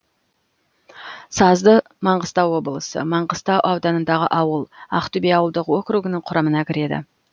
сазды маңғыстау облысы маңғыстау ауданындағы ауыл ақтөбе ауылдық округінің құрамына кіреді